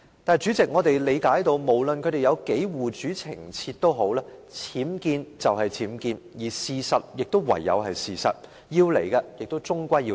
但是，主席，無論他們護主多麼情切，僭建就是僭建，事實就是事實，要來的終歸要來。